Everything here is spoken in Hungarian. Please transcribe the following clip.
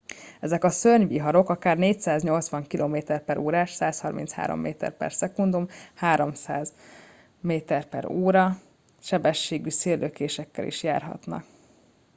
ezek a szörnyviharok akár 480 km/órás 133 m/s 300 mp/h sebességű széllökésekkel is járnak